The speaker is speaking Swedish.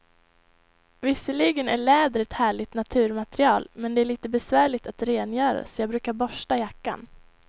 Visserligen är läder ett härligt naturmaterial, men det är lite besvärligt att rengöra, så jag brukar borsta jackan.